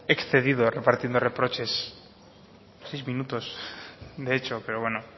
excedido repartiendo reproches seis minutos de hecho pero bueno